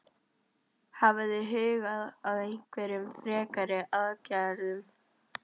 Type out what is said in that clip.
Hafið þið hugað að einhverjum frekari aðgerðum?